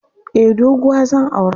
Eh doguwa zan aura.